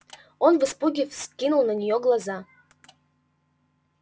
он в испуге вскинул на неё глаза